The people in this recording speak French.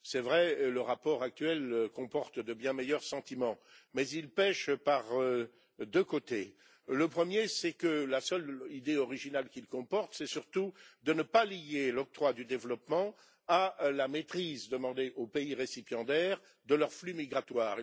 C'est vrai que le rapport actuel comporte de biens meilleurs sentiments, mais il pèche par deux aspects. Le premier, c'est que la seule idée originale qu'il comporte, c'est surtout de ne pas lier l'octroi du développement à la maîtrise demandée aux pays récipiendaires de leurs flux migratoires.